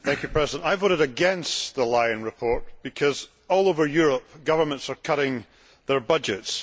Mr President, I voted against the Lyon report because all over Europe governments are cutting their budgets.